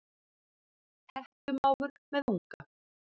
Hettumávur með unga.